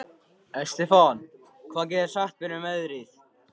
Estefan, hvað geturðu sagt mér um veðrið?